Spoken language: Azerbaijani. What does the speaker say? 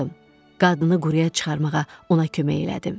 Qadını quruya çıxarmağa ona kömək elədim.